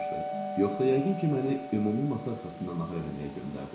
Yoxsa yəqin ki, məni ümumi masa arxasına nahar eləməyə göndərdi.